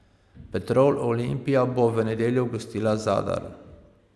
Petrol Olimpija bo v nedeljo gostila Zadar.